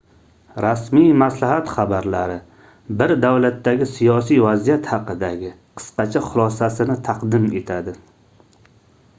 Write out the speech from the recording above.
rasmiy maslahat xabarlari bir davlatdagi siyosiy vaziyat haqidagi qisqacha xulosasisini taqdim etadi